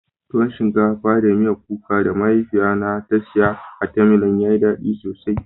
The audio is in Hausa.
Tuwon shinkafa da miyan kuka da mahaifiya na ta siya a "timeline " ya yi dadi sosai.